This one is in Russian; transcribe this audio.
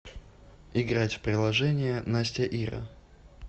играть в приложение настяира